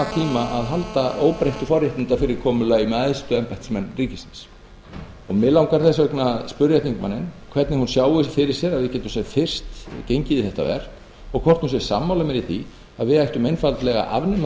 tíma að halda óbreyttu forréttindafyrirkomulagi með æðstu embættismenn ríkisins mig langar þess vegna að spyrja þingmanninn hvernig hún sjái fyrir sér að við getum sem fyrst gengið í þetta verk og hvort hún sé sammála mér í því að við ættum einfaldlega að afnema þessi